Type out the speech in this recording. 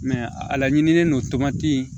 a laɲinilen don tɔntin